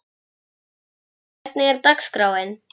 Yrkill, hvernig er dagskráin?